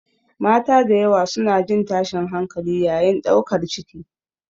Mata da yawa suna jin tashin hankali yayin ɗaukar ciki.